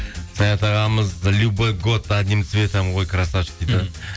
саят ағамыз любой год одним цветом ғой красавчик дейді